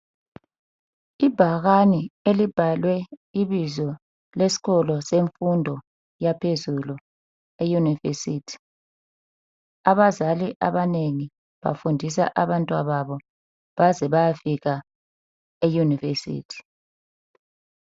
Ibhakane elibhalwe ibizo lesikolo semfundo yaphezulu eyunivesithi abazalali abanengi bafundisa abantwa babo baze bayafika eyunivesithi